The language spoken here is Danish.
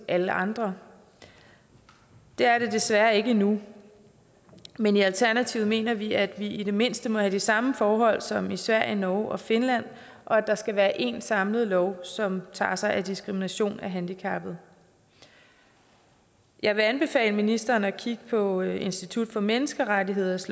alle andre det er det desværre ikke endnu men i alternativet mener vi at vi i det mindste må have de samme forhold som i sverige norge og finland og at der skal være én samlet lov som tager sig af diskrimination af handicappede jeg vil anbefale ministeren at kigge på institut for menneskerettigheders